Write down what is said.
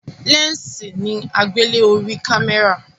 lẹnsi ni agbele orí kámẹ́rà